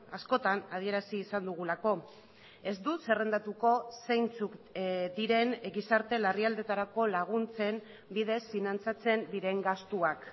askotan adierazi izan dugulako ez dut zerrendatuko zeintzuk diren gizarte larrialdietarako laguntzen bidez finantzatzen diren gastuak